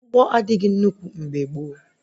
Ụgbọ adịghị nnukwu mgbe gboo